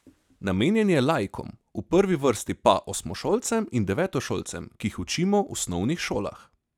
Namenjen je laikom, v prvi vrsti pa osmošolcem in devetošolcem, ki jih učimo v osnovnih šolah.